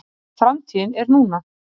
Framtíðin er núna.